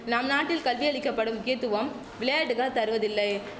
நம் நாட்டில் கல்வி அளிக்க படும் முக்கியத்துவம் விளையாட்டுக தருவதில்லை